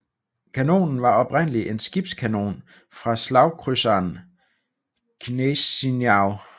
Kanonen var oprindelig en skibskanon fra slagkrydseren Gneisenau